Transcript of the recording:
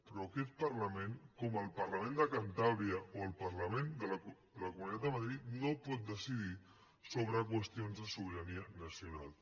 però aquest parlament com el parlament de cantàbria o el parlament de la comunitat de madrid no pot decidir sobre qüestions de sobirania nacional